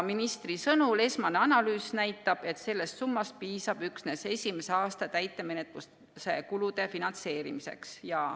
Ministri sõnul näitab esmane analüüs, et sellest summast piisab üksnes esimese aasta täitemenetluskulude finantseerimiseks.